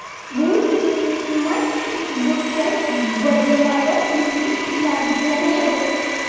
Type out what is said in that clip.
Bu turmak uchburchak va dumaloq yuzli qizlarga yarashadi.